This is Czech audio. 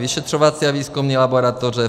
Vyšetřovací a výzkumné laboratoře.